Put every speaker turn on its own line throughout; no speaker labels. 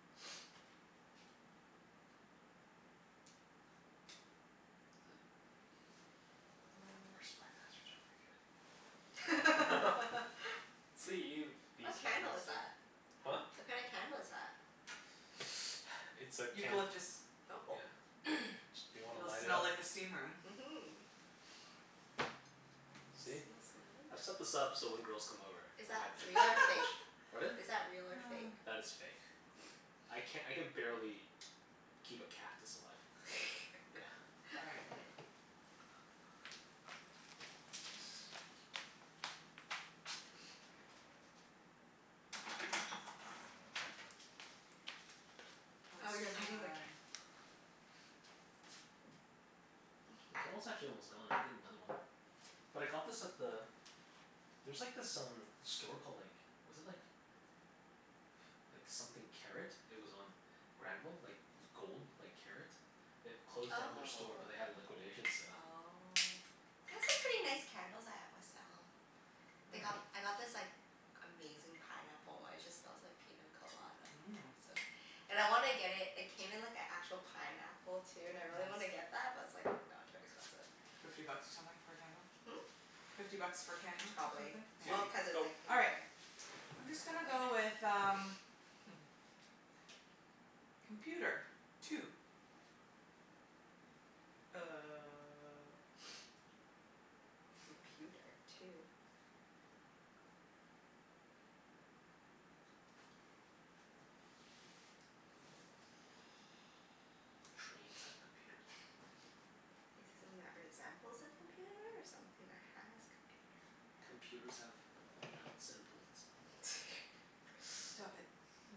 Is th-
Huh. Our Spy Masters aren't very good.
Let's see you be
What
Spy
candle is
Master.
that?
Huh?
What kinda candle is that?
It's a can.
Eucalyptus.
Oh.
Yeah. Do you wanna
It'll
light it
smell
up?
like a steam room.
Mhm.
See? I've set
Smells so nice.
this up so when girls come over
Is
I
that
have
real or fake?
advantage. Pardon?
Is that real or fake?
That is fake. I can, I can barely keep a cactus alive. Yeah.
All right.
Oh, you're
Let's
lighting the cand-
try
The candle's actually almost gone. I can get another one. But I got this at the, there's like this um store called like, was it like like something Karat. It was on Granville. Like gold, like karat. It closed down their store but they had a
Oh.
liquidation sale.
Oh. They have some pretty nice candles at West Elm.
Mm.
They got, I got this like amazing pineapple one. It just smells like pina colada, oh
Mmm.
so And I wanna get it, it came in like an actual pineapple, too, and I really wanna
Nice.
get that, but it's like no, too expensive.
Fifty bucks or something for a candle?
Hmm?
Fifty bucks for a candle, or something?
Probably.
Yeah.
Susie.
Well, cuz it's
Go.
like in
All
a
right. I'm just gonna go
pineapple thing.
with um Computer. Two.
Uh computer two?
Trains have computers on them.
Is it something that resembles a computer or something that has computer?
Computers have nuts and bolts.
Stop it.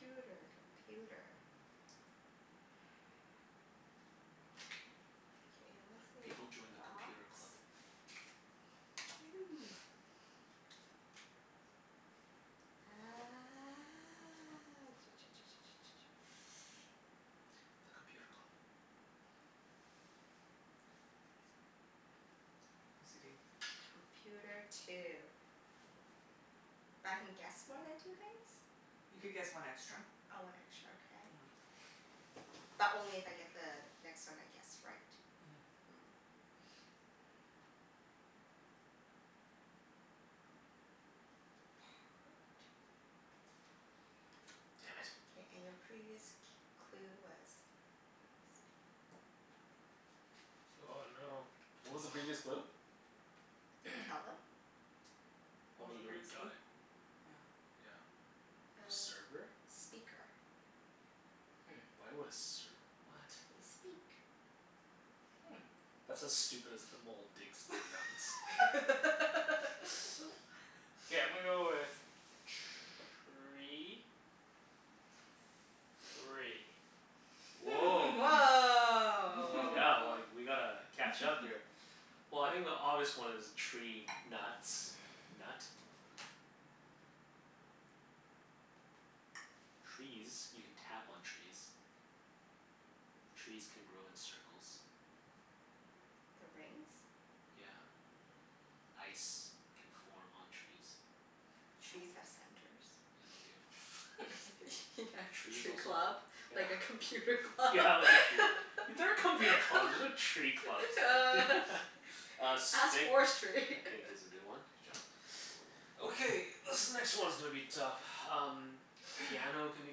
Computer. Computer. K, I'm gonna say
People join the
box.
Computer Club.
You.
Ah
The Computer Club.
OCD.
Computer two. But I can guess more than two things?
You could guess one extra.
Oh, one extra. Okay.
Mhm.
But only if I get the next one I guess right?
Mhm.
Mm. Part.
Damn it.
K, and your previous c- clue was
Oh no. What was the previous
Wow.
clue?
Can you tell them?
What
Well I
was the
mean, you already
previous
got
clue?
it.
Yeah.
Yeah.
Uh,
Server?
speaker.
Hmm.
Why would a serv- what?
They speak.
Hmm.
That's as stupid as the mole digs for nuts.
K, I'm gonna go with tree. Three.
Woah. Oh yeah, well
Woah.
like, we gotta catch up here. Well, I think the obvious one is tree nuts. Nut. Trees. You can tap on trees. Trees can grow in circles.
The rings?
Yeah. Ice can form on trees.
Trees have centers.
Yeah, they do.
Yeah,
Trees
tree
also,
club.
yeah
Like a computer club.
Yeah, like a tree, there are computer clubs, there's no tree clubs. Uh,
Ask
stick, I
forestry.
think is a good one.
Good job.
Okay, this next one's gonna be tough. Um Piano can be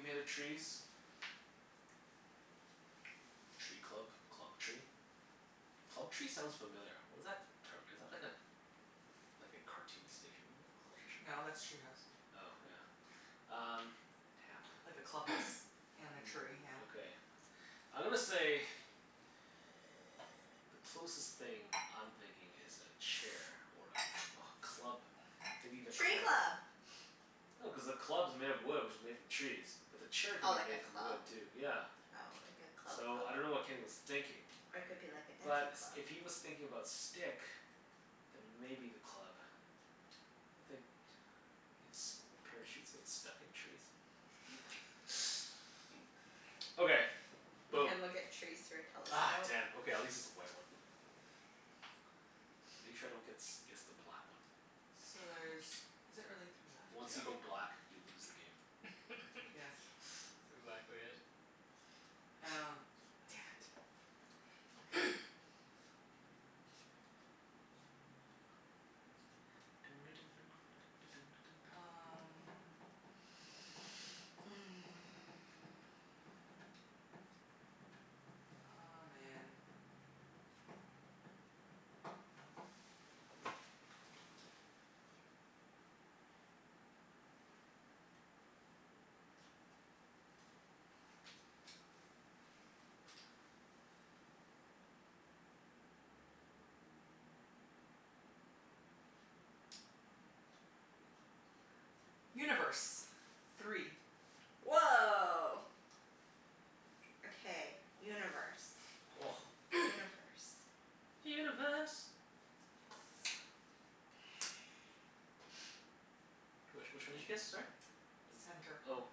made of trees. Tree club? Club tree? Club tree sounds familiar. What is that term? Is that like a like a cartoon station
No,
Club Tree?
that's Treehouse.
Oh, yeah. Um, tap.
Like a clubhouse and a tree,
Mm,
yeah.
okay. I'm gonna say Closest thing I'm thinking is a chair or a a club maybe the
Tree
club?
club!
No, cuz the club's made of wood which is made from trees. But the chair
Oh,
could
like
be
a
made from
club?
wood, too. Yeah.
Oh, like a club
So, I dunno
club.
what Kenny was thinking.
Or it could be like a
But
dancing
s-
club.
if he was thinking about stick then maybe the club. I think ins- parachutes get stuck in trees. Okay,
You
boom.
can look at trees through a
Ah,
telescope.
damn. Okay, at least it's a white one. Make sure I don't gets guess the black one.
So there's, is it really three left?
Once you
Yep.
go black you lose the game.
That's
Yes.
exactly it.
Oh, damn it. Okay. Um Aw, man. Universe. Three.
Woah. Okay, universe. Universe.
Universe.
Yes.
Which which one did you guess, sorry? Does
Center.
it, oh,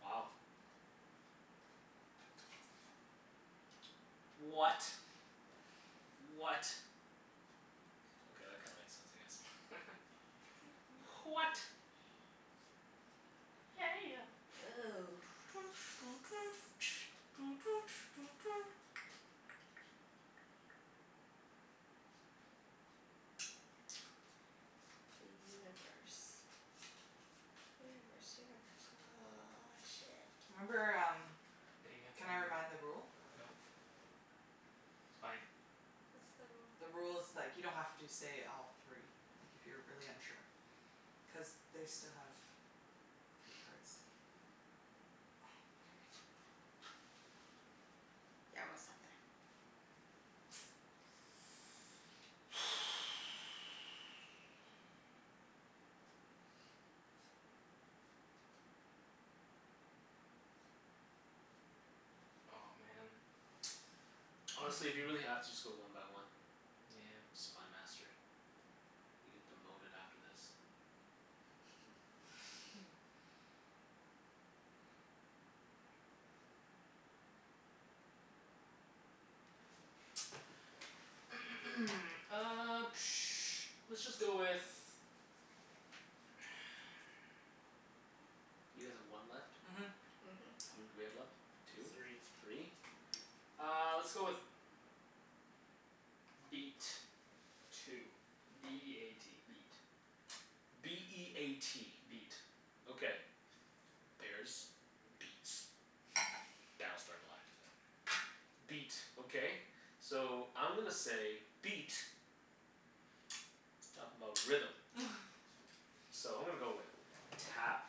wow. What? What? Okay, that kinda makes sense, I guess. H- what? Hey ya.
Ooh. The universe. Universe, universe. Ah, shit.
Remember um,
Hey, you have to
can I
re-
remind the rule?
no. It's fine.
What's the rule?
The rule is like you don't have to say all three. Like, if you're really unsure. Cuz they still have three cards. Damn it.
Yeah, I'm gonna stop there.
Oh, man.
Honestly, if you really have to, just go one by one.
Nyeah.
Spy Master. You get demoted after this.
Hmm.
Uh let's just go with
You guys have one left?
Mhm.
Mhm.
How many do we have left?
Three.
Two? Three?
Uh, let's go with beat. Two. B e a t. Beat.
B e a t.
Beat.
Okay. Bears. Beats. Battlestar Galactica. Beat. Okay. So, I'm gonna say beat is talkin' 'bout rhythm. So I'm gonna go with tap.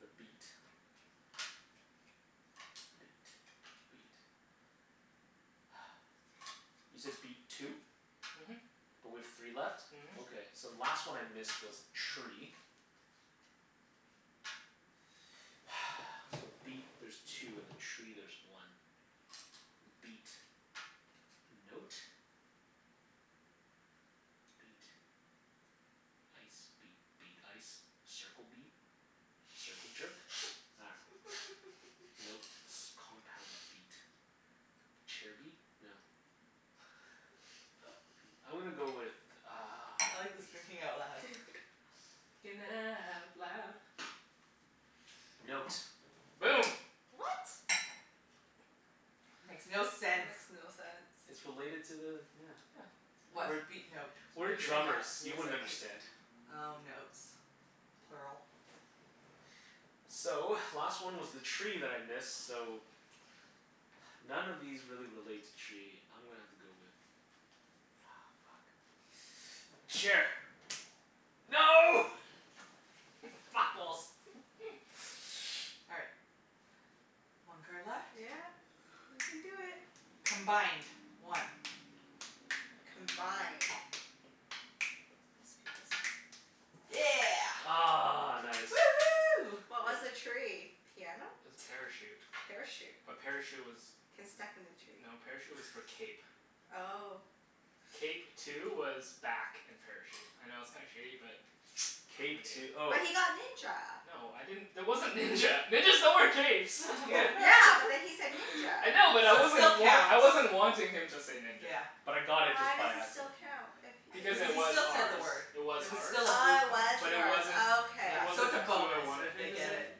The beat. The beat. The beat. You said beat two?
Mhm.
But we have three left?
Mhm.
Okay, so the last one I missed was tree. So beat there's two, and then tree there's one. M- beat. Note. Beat. Ice. Beat. Beat. Ice. Circle beat. Circle jerk? Nah. Note. S- compound beat. Chair beat? No. Beat. I'm gonna go with uh
I like this thinking out loud.
Thinking out loud.
Note.
Boom.
What?
Makes no
That
sense.
makes no
It's
sense.
related to the, yeah.
Yeah.
What?
We're
Beat note?
we're drummers.
Mus-
You
music
wouldn't
music.
understand.
Oh, notes. Plural.
So, last one was the tree that I missed, so none of these really relate to tree. I'm gonna have to go with Aw, fuck. Chair. No! Fat balls!
All right. One card left.
Yeah. We can do it.
Combined. One.
Combined. Must be this one.
Yeah.
Ah, nice.
Woohoo.
What was the tree? Piano?
Parachute.
Parachute?
A parachute was,
Can stuck in the tree?
no, parachute was for cape.
Oh.
Cape two was back and parachute. I know it's kinda shitty but what
Cape two oh.
But he got ninja.
No, I didn't, there wasn't ninja. Ninjas don't wear capes.
Yeah.
Yeah, but then he said ninja.
I know but I
So it still
wasn't wan-
counts.
I wasn't wanting him to say ninja.
Yeah.
But I got it
Why
just
does
by
it
accident.
still count, if
Because
Cuz if
it
he
he
was
still said the
ours.
word.
It was
It was
ours.
still a blue
Oh, it
card.
was
But it
yours.
wasn't,
Oh okay.
it
Yeah. So
wasn't
it's a
the clue I
bonus
wanted
if they
him to
get
say.
it.
Mm.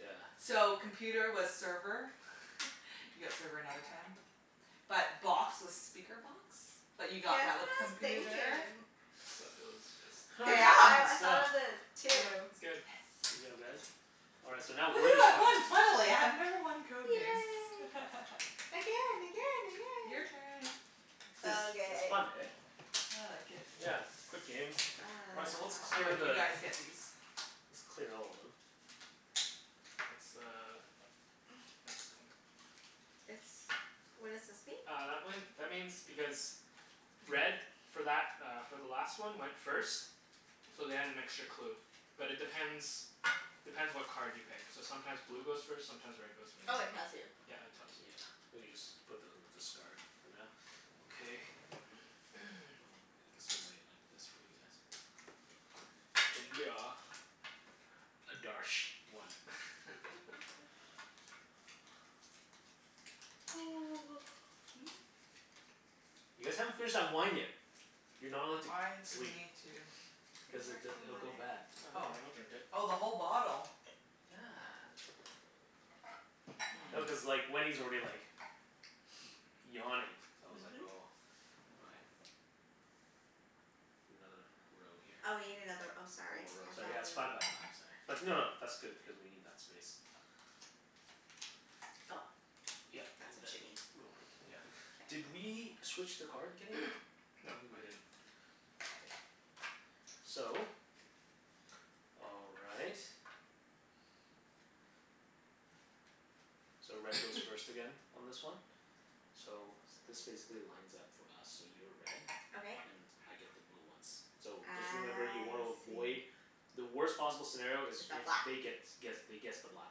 Yeah.
So, computer was server. You got server another time. But box was speaker box, but
That's
you
what
got that with
I was
computer.
thinking.
So, it was just
K,
Good job.
I I
That's done.
thought of it too.
It's good.
Good
Yes.
job, guys. All right, so now we're
Woohoo.
the
I
Spy
won,
Masters.
finally. I have never won Code Names.
Yay. Again, again,
Your
again!
turn.
It's it's
Okay.
fun, hey?
I like it.
Yeah. Quick games. All right, so let's
Oh,
clear
right.
Ah.
You
the
guys get these.
Let's clear all of them.
That's the next one.
This, what does this mean?
Uh, that one, that means because red for that uh for the last one went first. So they had an extra clue. But it depends depends what card you pick. So sometimes blue goes first, sometimes red goes
Oh,
first.
it tells you.
Yeah, it tells you.
Yeah. We can just put those in the discard for now. Okay. Oh, I guess we'll lay it like this for you guys.
India.
Adarsh. One. You guys haven't finished that wine yet. You're not allowed to g-
Why do we
sleep.
need to
I'm
Because it
working
di- it'll
on
go bad.
it.
No, don't
Oh.
worry. I'll drink it.
Oh, the whole bottle?
Yeah. No, cuz
Mmm.
like Wenny's already like yawning. So I was like
Mhm.
oh all right. Another row here.
Oh, we need another, oh
One
sorry.
more row,
I thought
sorry. Yeah, it's five
we
by five, sorry. But no no, that's good, cuz we need that space.
Oh,
Yep. And
that's what you
then
mean.
we'll, yeah. Did
K.
we switch the card, Kenny? I
No,
don't think we
I
did.
didn't.
Okay. So all right. So red goes first again on this one. So this basically lines up for us. So you're red.
Okay.
And I get the blue ones. So,
I
just remember you wanna avoid
see.
The worst possible scenario
Is
is
a
if
black
they gets guess they guess the black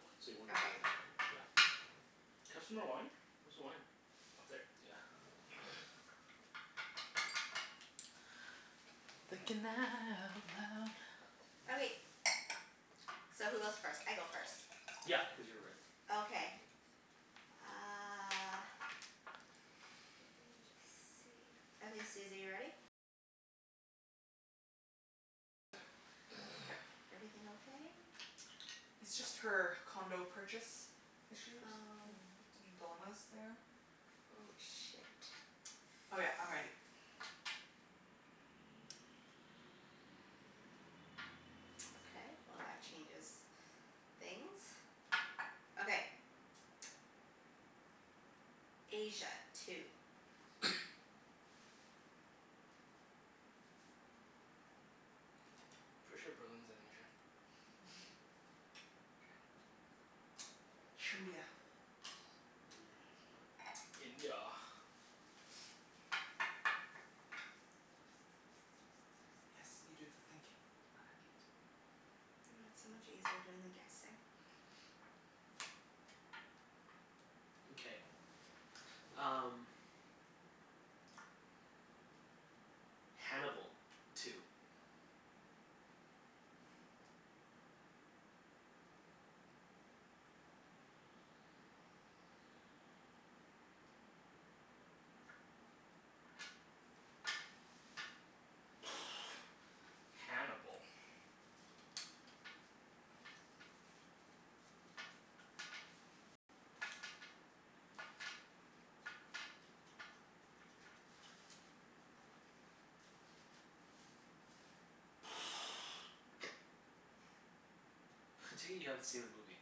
one, so you wanna
Okay.
avoid that one. Yeah.
Can I have some more wine? Where's the wine? Up there.
Yeah.
Thinking out loud.
Okay. So who goes first? I go first.
Yep, cuz you're red.
Okay. Uh
Okay.
Everything okay?
It's just her condo purchase issues
Oh.
and some dilemmas there.
Oh, shit.
Oh yeah, I'm ready.
Okay, well that changes things. Okay. Asia. Two.
Pretty sure Berlin's in Asia.
Mhm. Trindia.
Mm, smart.
India.
Yes. You do the thinking. I like it.
I know, it's so much easier doing the guessing.
Okay, um Hannibal. Two.
Hannibal.
I take it you haven't seen the movie?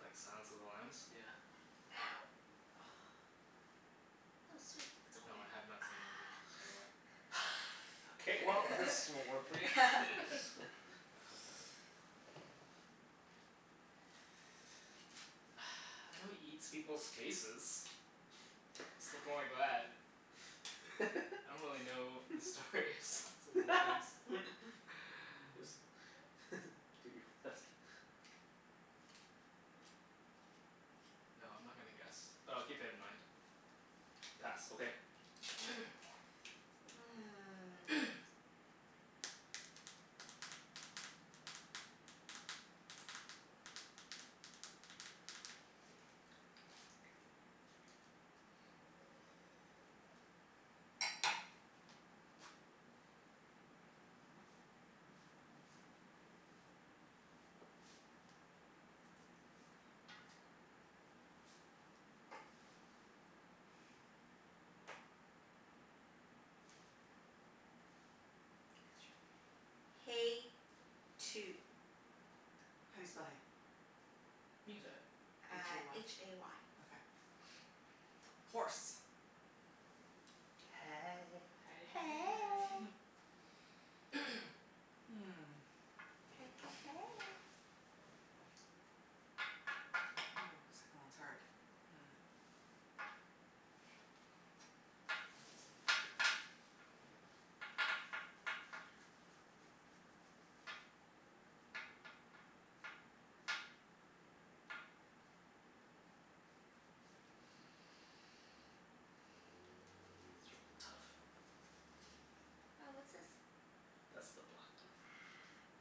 Like, Silence of the Lambs?
Yeah.
Ow. Oh, sweet. It's okay.
No, I have not seen the movie, by the way.
K, well this won't work for you.
Ah.
I know he eats people's faces. I don't really know the story of Silence of the Lambs.
Just do your best.
No, I'm not gonna guess. But I'll keep it in mind. Pass.
Okay.
K. K, let's try, hay. Two.
How do you spell hay?
You can say it.
h
Uh,
a
h
y.
a y.
Okay. Horse.
Hey.
Hey hey hey.
Hey.
Hmm.
Hey hey hey.
Ooh, second one's hard. Mhm.
These are all tough.
Oh, what's this?
That's the black one.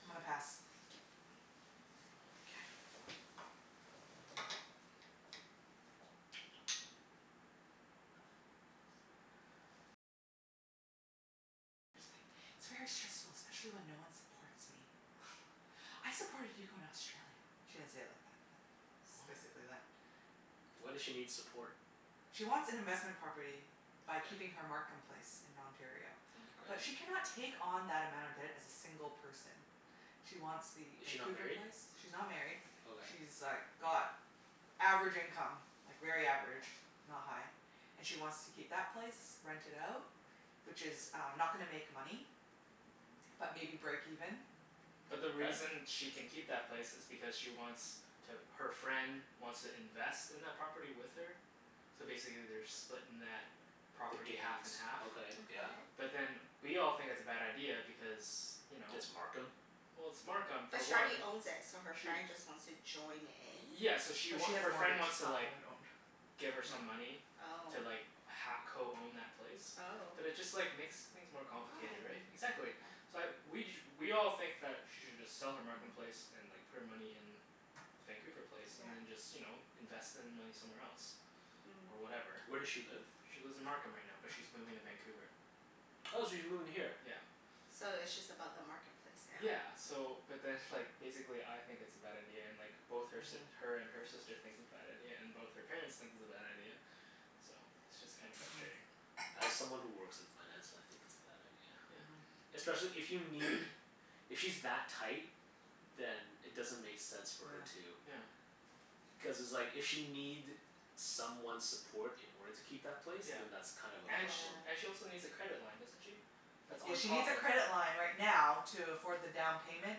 I'm gonna pass.
K.
K.
"I supported you in Australia." She didn't say it like that, but it's
What?
basically that.
Why does she need support?
She wants an investment property by
Okay.
keeping her Markham place in Ontario.
Mkay.
But
Okay.
she cannot take on that amount of debt as a single person. She wants the
Is she not
Vancouver
married?
place. She's not married.
Okay.
She's like got average income. Like very average. Not high. And she wants to keep that place. Rent it out. Which is um not gonna make money. But maybe break even.
But the
Okay.
reason she can keep that place is because she wants to, her friend wants to invest in that property with her. So basically they're splitting that
The
property half
gains.
and half.
Okay,
Okay.
yeah.
But then we all think it's a bad idea because you know?
It's Markham?
Well, it's Markham, for
But she already
one.
owns it, so her
Sh-
friend just wants to join in?
yeah, so she
But she
wa-
has a
her friend
mortgage.
wants
It's
to
not
like
owned owned.
give her some
Yeah.
money
Oh.
to like ha- co-own that place.
Oh.
But it just like makes things more complicated, right?
Why?
Exactly.
Okay.
So I we ju- we all think that she should just sell her Markham place
Mhm.
and like put her money in Vancouver place
Yeah.
and then just, you know, invest the money somewhere else.
Mm.
Or whatever.
Where does she live?
She lives in Markham right now, but she's moving to Vancouver.
Oh, she's moving here?
Yeah.
So it's just about the Markham place now?
Yeah. So, but then like, basically I think it's a bad idea, and like both her si-
Mhm.
her and her sister thinks it's bad idea, and both her parents think it's a bad idea. So it's just kinda
Mhm.
frustrating.
As someone who works in finance, I think it's a bad idea.
Yeah.
Mhm.
Especially if you need If she's that tight then it doesn't make sense for
Yeah.
her to
Yeah.
Cuz it's like if she'll need someone's support in order to keep that place.
Yeah.
Then that's kind of a
And sh-
problem.
and she
Yeah.
also needs a credit line, doesn't she? That's
Yeah,
on
she needs
top
a
of
credit line right now to afford the down payment.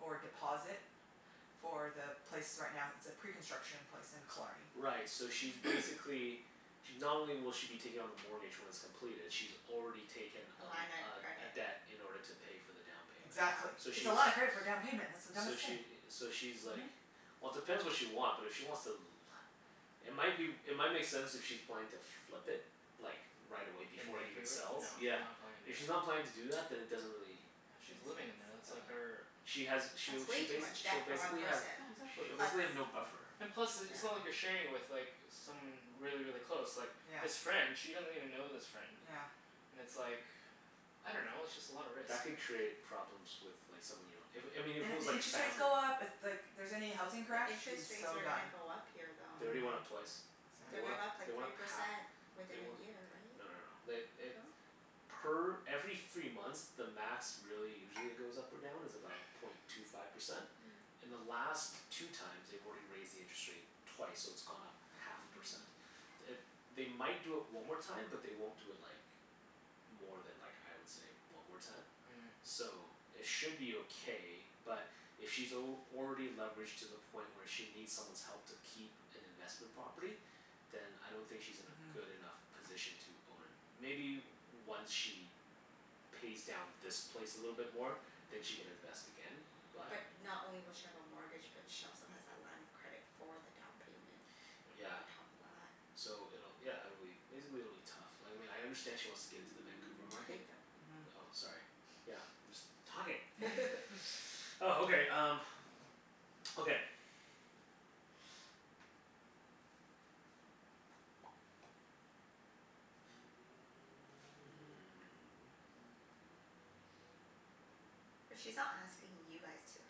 Or deposit. For the place right now, it's a pre-construction place in Killarney.
Right, so she's
Mm.
basically She, not only will she be taking on the mortgage when it's completed she's already taken
A
a
line of
l- a a
credit.
debt in order to pay for the down payment.
Yeah.
Exactly.
So
It's
she's
a lot of credit for down payment. That's the dumbest
So
thing.
she i- so she's
Mhm.
like Well depends what she want, but if she wants to l- It might be w- It might make sense if she's planning to flip it. Like, right away
In
before it even
Vancouver? No,
sells.
she's
Yeah.
not planning to
If
do that.
she's not planning to do that then it doesn't really
Yeah,
Make
she's living in
sense.
there. That's like
Uh
her
She has
That's
she'll
way
she
too
bas-
much
she'll
debt for one
basically have
person.
Yeah, exactly.
she'll basically have no
Plus
buffer.
And plus, i- it's not like
yeah.
you're sharing it with like someone really, really close. Like
Yeah.
this friend she doesn't even know this friend.
Yeah.
And it's like, I don't know. It's just a lot of risk,
That could
right?
create problems with like someone you don't if, I mean
And
if it
if
was
the
like
interest rates
family
go up, if like here's any housing crash,
The
she's
interest rates
so
are
done.
gonna go up here,
They
though.
already went up
Mhm.
twice. They
They're
Mm.
went
gonna
up,
go up
Exactly.
they
like
went
three
up half.
percent
They
within
we-
a year,
no no no.
right?
They eh
No?
Per every three months the max really usually it goes up or down is about point two five percent.
Mm.
In the last two times they've already raised the interest rate twice, so it's gone up half a
Mhm.
percent. It, they might do it one more time, but they won't do it like more than like, I would say, one more time.
Mhm.
So, it should be okay but if she's al- already leveraged to the point where she needs someone's help to keep an investment property then I don't think she's in a
Mhm.
good enough position to own a Maybe once she pays down this place a little bit more. Then she can invest again
Yeah.
but
But not only will she have a mortgage, but she also has that line of credit for the down payment.
Yeah.
On top of that.
So it'll, yeah, it'll be, basically it'll be tough. Like, I mean I understand she wants to get into the Vancouver market
Okay, go.
Mhm.
Oh, sorry. Yeah, I'm just talking. Oh, okay um okay Hmm.
But she's not asking you guys to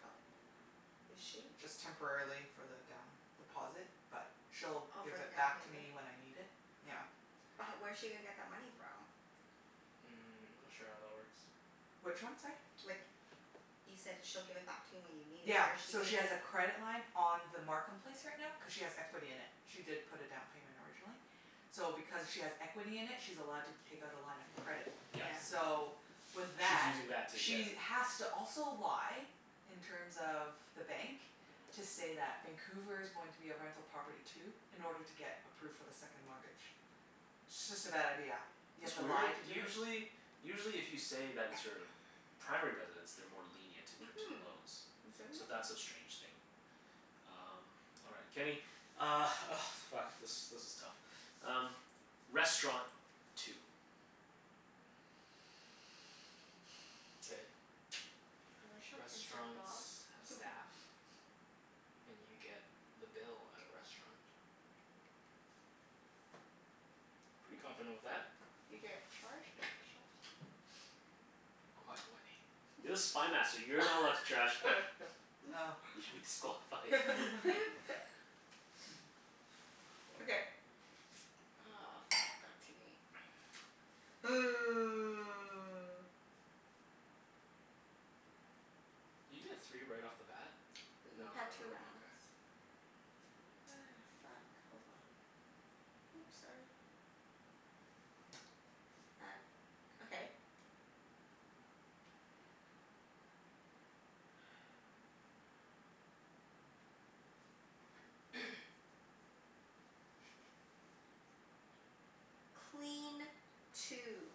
help, is she?
Just temporarily for the down deposit, but she'll
Oh,
give
for
it
the down
back to
payment?
me when I need it. Yeah.
But h- where's she gonna get that money from?
Mm, I'm not sure how that works.
Which one, sorry?
Like, you said she'll give it back to you when you need it.
Yeah.
Where's she
So
gonna
she has a credit line on the Markham place right now cuz she has equity in it. She did put a down payment originally. So because she has equity in it she's allowed to take out a line of credit.
Yes.
Yeah.
So, with
She's
that
using that to get
she
a
has to also lie in terms of the bank to
Mhm.
say that Vancouver's going to be a rental property too. In order to get approved for the second mortgage. It's just a bad idea. You have
That's
to
weird.
lie to do it?
Usually usually if you say that it's your primary residence they're more lenient in terms of
Mhm.
loans. So that's a strange thing. Um, all right. Kenny Uh, oh fuck, this this is tough. Um, restaurant. Two.
K.
A restaurant can serve
Restaurants
dog.
have staff. And you get the bill at a restaurant. Pretty confident with that.
You get charged
Quiet, Wenny.
You're the Spy Master. You're not allowed to trash talk.
Oh.
You should be disqualified.
Okay. Oh, fuck. Back to me.
Did you get three right off the bat? No no
We've had two
no,
rounds.
okay.
Ah, fuck. Hold on. Whoops, sorry. Back, okay. Clean. Two.